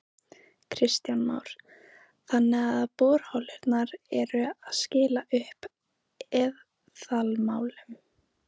Kristján Már: Þannig að borholurnar eru að skila upp eðalmálmum?